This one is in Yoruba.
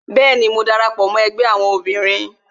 Bẹẹni, mo dara pọ mó ẹgbẹ́ àwọn obìnrin